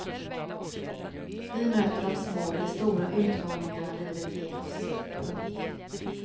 Vi möter de små eller stora utmaningarna livet ger oss. punkt